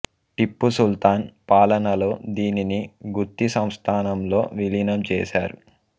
టిప్పు సుల్తాన్ పాలనలో దీనిని గుత్తి సంస్థానంలో విలీనం చేశారు